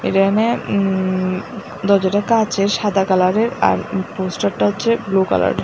এরানে উঁম দরজাটা কাঁচের সাদা কালার এর আর পোস্টার টা হচ্ছে ব্লু কালার এর।